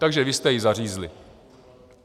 Takže vy jste ji zařízli.